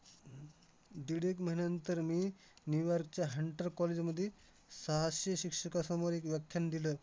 तर शाळेत शाळेच्या बाजूलाच ना ते वडापाव वाले काका होते आम्ही लहानपणापासून त्यांच्याकडून घ्यायचं आणि ते लहानपणापासूनच तिथेच होते तर ना